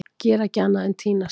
Gera ekki annað en að týnast!